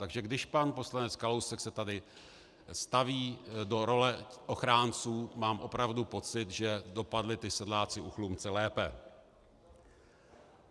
Takže když pan poslanec Kalousek se tady staví do role ochránců, mám opravdu pocit, že dopadli ti sedláci u Chlumce lépe.